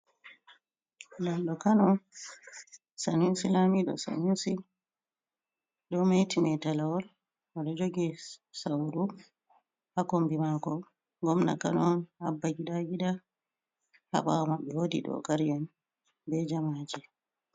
Lamɗo kano on Sanuusi lamiɗo sanusi. Ɗo meti metelewol, oɗo jogi sauru. Ha kombi mako gomna kano on, Abba gida gida. Ha ɓawo maɓɓe woɗi ɗogari en, ɓe jamaje.